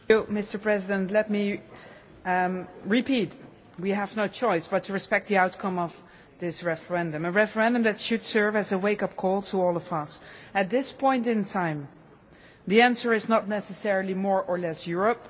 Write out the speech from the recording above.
Mr President, let me repeat that we have no choice but to respect the outcome of this referendum, a referendum that should serve as a wake-up call to all of us. At this point in time, the answer is not necessarily more or less Europe.